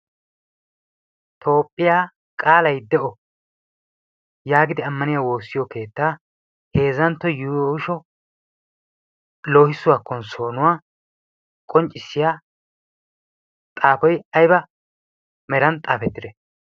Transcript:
toophphiyaa qaaly i de'o' yaagidi ammaniya woossiyo keettaa heezantto yuusho loohissuwaa kon soonuwaa qonccissiya xaafoy ayba meran xaafettide?